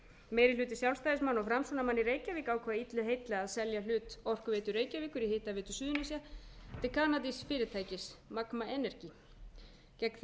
í reykjavík ákvað illu heilli að selja hlut orkuveitu reykjavíkur í hitaveitu suðurnesja til kanadísks fyrirtækis magn energy gegn þeim